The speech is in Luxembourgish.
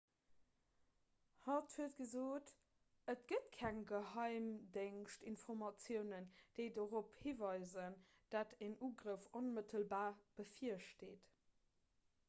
hatt huet gesot et gëtt keng geheimdéngschtinformatiounen déi dorop hiweisen datt en ugrëff onmëttelbar bevirsteet